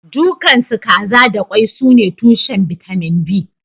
Dukansu kaza da kwai sune tushen bitamin B